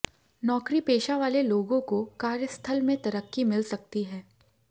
नौकरी पेशा वाले लोगों को कार्यस्थल में तरक्की मिल सकती है